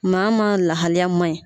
Maa maa lahaliya man ɲi.